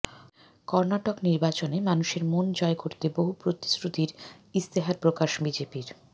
কর্নাটক নির্বাচনে মানুষের মন জয় করতে বহু প্রতিশ্রুতির ইস্তেহার প্রকাশ বিজেপির